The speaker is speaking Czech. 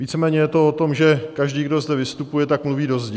Víceméně je to o tom, že každý, kdo zde vystupuje, tak mluví do zdi.